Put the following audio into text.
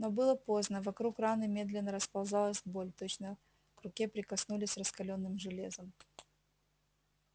но было поздно вокруг раны медленно расползалась боль точно к руке прикоснулись раскалённым железом